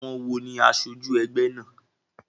Àwon wo ní asojú egbé náà?